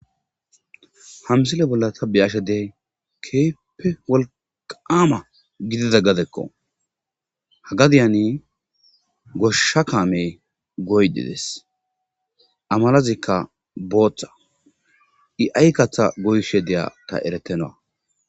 hamsile bolla tabbeyashedey keeppe wolqaama gidida gadekko hagadiyani goshsha kaame goydides amalazikka booththa i7ay katha goyshe deya ta eretenawa